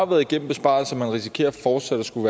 været igennem besparelser og risikerer fortsat at skulle